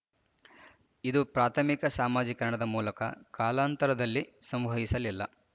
ಇದು ಪ್ರಾಥಮಿಕ ಸಾಮಾಜೀಕರಣದ ಮೂಲಕ ಕಾಲಾಂತರದಲ್ಲಿ ಸಂವಹಿಸಲಿಲ್ಲ